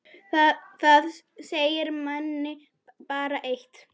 Það segir manni bara eitt.